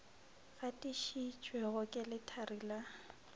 gatišitšwego ke lethari la go